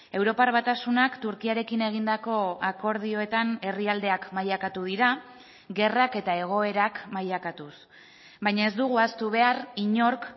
europar batasunak turkiarekin egindako akordioetan herrialdeak mailakatu dira gerrak eta egoerak mailakatuz baina ez dugu ahaztu behar inork